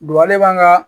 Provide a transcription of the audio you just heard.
ale b'an ka